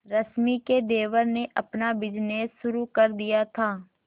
रश्मि के देवर ने अपना बिजनेस शुरू कर दिया था